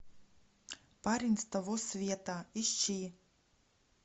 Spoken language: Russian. парень с того света ищи